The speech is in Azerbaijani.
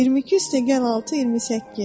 22 + 6 = 28.